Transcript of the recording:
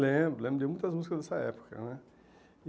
Lembro, lembro de muitas músicas dessa época, né?